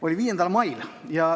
Oli 5. mail.